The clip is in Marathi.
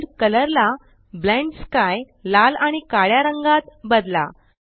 वर्ल्ड कलर ला ब्लेंड स्काय लाल आणि काळ्या रंगात बदला